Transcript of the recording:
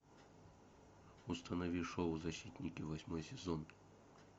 установи шоу защитники восьмой сезон